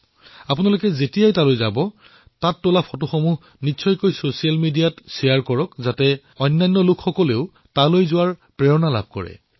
আপোনালোকে যেতিয়া ইয়ালৈ আহিব তেতিয়া ইয়াৰ আলোকচিত্ৰসমূহ ছচিয়েল মিডিয়াত যাতে নিশ্চয়কৈ বিনিময় কৰে যাতে অন্য লোকেও এই পবিত্ৰ স্থানলৈ অহাৰ উৎসাহ অনুভৱ কৰিব পাৰে